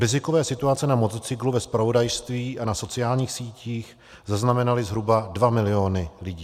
Rizikové situace na motocyklu ve zpravodajství a na sociálních sítích zaznamenaly zhruba 2 mil. lidí.